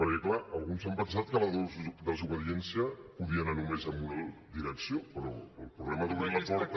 perquè clar alguns s’han pensat que la desobediència podia anar només en una direcció però el problema d’obrir la porta